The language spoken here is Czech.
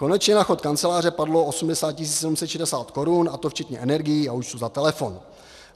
Konečně na chod kanceláře padlo 80 760 korun, a to včetně energií a účtů za telefon.